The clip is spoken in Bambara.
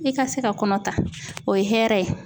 I ka se ka kɔnɔ ta o ye hɛrɛ ye.